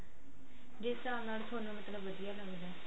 ਜਿਸ ਸਾਬ ਨਾਲ ਥੋਨੂੰ ਮਤਲਬ ਵਧੀਆ ਲੱਗਦਾ